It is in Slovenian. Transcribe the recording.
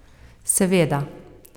Seveda.